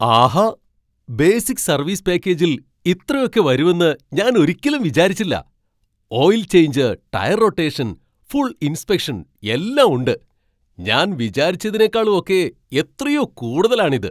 ആഹാ! Basic service പാക്കേജിൽ ഇത്രയൊക്കെ വരും എന്ന് ഞാൻ ഒരിക്കലും വിചാരിച്ചില്ല. Oil change, tyre rotation, full inspection എല്ലാം ഉണ്ട്! ഞാൻ വിചാരിച്ചതിനെക്കാളും ഒക്കെ എത്രയോ കൂടുതലാണ് ഇത്!